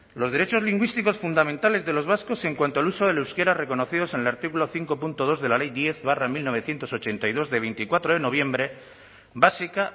los derechos lingüísticos fundamentales de los vascos en cuanto al uso del euskera reconocidos en el artículo cinco punto dos de la ley diez barra mil novecientos ochenta y dos de veinticuatro de noviembre básica